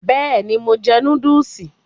Bẹ́ẹ̀ni, mo jẹ núdùsì